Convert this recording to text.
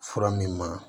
Fura min ma